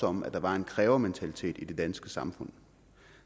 om at der var en krævementalitet i det danske samfund